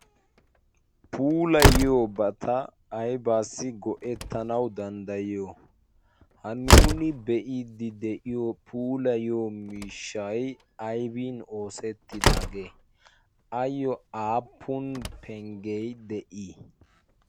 puulayiyobata aybaassi go'ettanau danddayiyo ha nuuni be'iddi de'iyo pulayyo mishshay aybin oosettidaagee ayyo aapun penggee de'ii